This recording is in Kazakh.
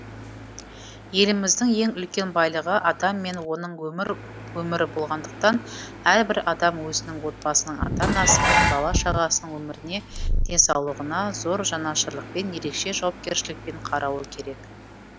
еліміздің ең үлкен байлығы адам мен оның өмірі болғандықтан әрбір адам өзінің отбасының ата анасы мен бала шағасының өміріне денсаулығына зор жанашырлықпен ерекше жауапкершілікпен қарауы керек